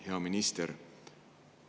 Hea minister!